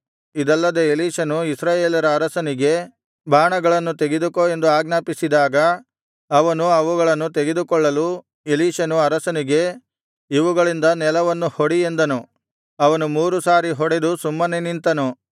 ಇದಲ್ಲದೆ ಎಲೀಷನು ಇಸ್ರಾಯೇಲರ ಅರಸನಿಗೆ ಬಾಣಗಳನ್ನು ತೆಗೆದುಕೋ ಎಂದು ಆಜ್ಞಾಪಿಸಿದಾಗ ಅವನು ಅವುಗಳನ್ನು ತೆಗೆದುಕೊಳ್ಳಲು ಎಲೀಷನು ಅರಸನಿಗೆ ಇವುಗಳಿಂದ ನೆಲವನ್ನು ಹೊಡಿ ಎಂದನು ಅವನು ಮೂರು ಸಾರಿ ಹೊಡೆದು ಸುಮ್ಮನೆ ನಿಂತನು